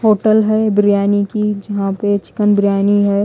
Hotel हैं बिरयानी की जहाँ चिकन बिरयानी हैं।